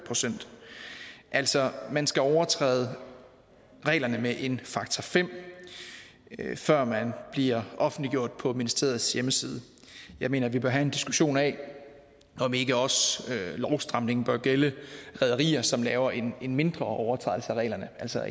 procent altså man skal overtræde reglerne med en faktor fem før man bliver offentliggjort på ministeriets hjemmeside jeg mener vi bør have en diskussion af om ikke også lovstramningen bør gælde rederier som laver en en mindre overtrædelse af reglerne altså